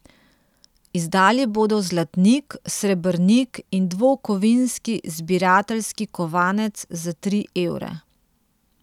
Izdali bodo zlatnik, srebrnik in dvokovinski zbirateljski kovanec za tri evre.